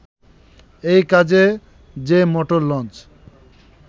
এই কাজে যে মোটর লঞ্চ